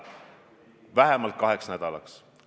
Mina arvan, et ka see on väga oluline.